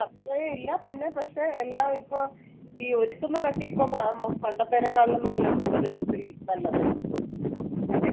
അത്രെയും ഇല്ല പിന്നെ പക്ഷെ എല്ലാം ഇപ്പൊ ഈ ഒരുക്കുന്നത് ഇപ്പോ പ~ പണ്ടത്തേക്കാളും നല്ല കൂടുതല് ഒത്തിരി നല്ലതായി പണ്ടൊക്കെ